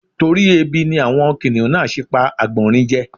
Torí ebi ni àwọn kìnìhún náà ṣe pa àgbọ̀nrín je.